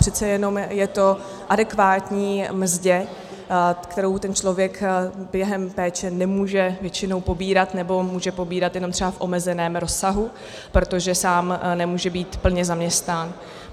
Přece jenom je to adekvátní mzdě, kterou ten člověk během péče nemůže většinou pobírat, nebo může pobírat jenom třeba v omezeném rozsahu, protože sám nemůže být plně zaměstnán.